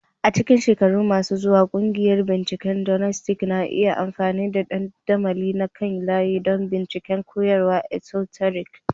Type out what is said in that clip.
A cikin shekaru masu zuwa, ƙungiyoyin binciken Gnostic na iya amfani da dandamali na kan layi don bincika koyarwar esoteric.